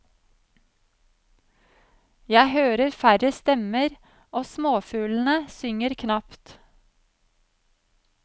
Jeg hører færre stemmer, og småfuglene synger knapt.